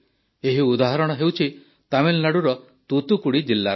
ଏହି ଉଦାହରଣ ହେଉଛି ତାମିଲନାଡ଼ୁର ତୁତୁକୁଡ଼ି ଜିଲ୍ଲାର